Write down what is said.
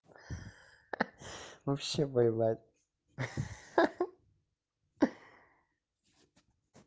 вообще поебать ха-ха